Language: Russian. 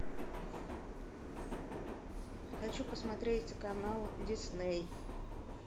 хочу посмотреть канал дисней